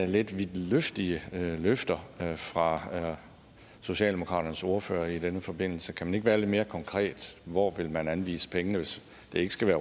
lidt vidtløftige løfter fra socialdemokraternes ordfører i denne forbindelse kan man ikke være lidt mere konkret hvor vil man anvise pengene hvis det ikke skal